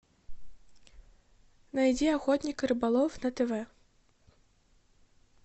найди охотник и рыболов на тв